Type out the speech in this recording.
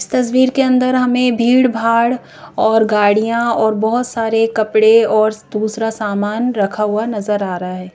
इस तस्वीर के अंदर हमें भीड़-भाड़ और गाड़ियां और बहुत सारे कपड़े और दूसरा सामान रखा हुआ नजर आ रहा है।